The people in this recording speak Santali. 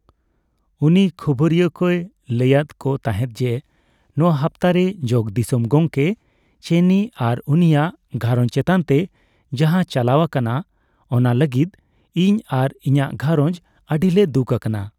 ᱩᱱᱤ ᱠᱷᱚᱵᱚᱨᱤᱭᱟᱹ ᱠᱚᱭ ᱞᱟᱹᱭᱟᱫ ᱠᱚ ᱛᱟᱦᱮᱸᱫ ᱡᱮ, ᱱᱚᱣᱟ ᱦᱟᱯᱛᱟᱨᱮ ᱡᱚᱜᱚᱼᱫᱤᱥᱚᱢ ᱜᱚᱢᱠᱮ ᱪᱮᱱᱤ ᱟᱨ ᱩᱱᱤᱭᱟᱜ ᱜᱷᱟᱨᱚᱸᱡᱽ ᱪᱮᱛᱟᱱᱛᱮ ᱡᱟᱦᱟᱸ ᱪᱟᱞᱟᱣ ᱟᱠᱟᱱᱟ, ᱚᱱᱟ ᱞᱟᱜᱤᱫ ᱤᱧ ᱟᱨ ᱤᱧᱟᱜ ᱜᱷᱟᱨᱚᱸᱡᱽ ᱟᱹᱰᱤᱞᱮ ᱫᱩᱠ ᱟᱠᱟᱱᱟ ᱾